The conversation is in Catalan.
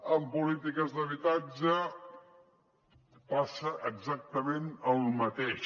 en polítiques d’habitatge passa exactament el mateix